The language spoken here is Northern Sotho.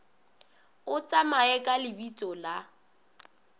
o tsamaye ka lebitso la